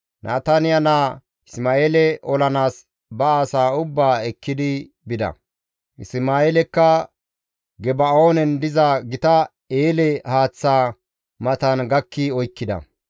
Nataniya naa Isma7eele olanaas ba asaa ubbaa ekkidi bida; Isma7eelekka Geba7oonen diza gita eele haaththa matan gakki oykkida.